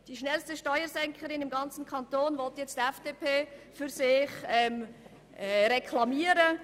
Den Titel als schnellste Steuersenkerin im ganzen Kanton will nun die FDP für sich reklamieren.